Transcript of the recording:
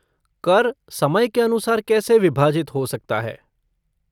कर समय के अनुसार कैसे विभाजित हो सकता है?